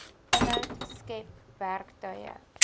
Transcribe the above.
inhoud skep werktuie